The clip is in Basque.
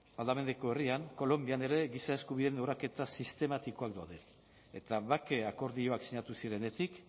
aldameneko herrian kolonbian ere giza eskubideen urraketa sistematikoak daude eta bake akordioak sinatu zirenetik